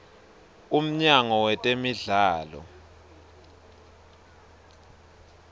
umnyango wetemidlalo